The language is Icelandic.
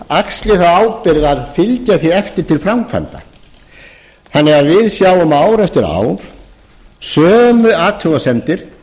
axli þá ábyrgð að fylgja því eftir til framkvæmda þannig að við sjáum ár eftir ár sömu athugasemdir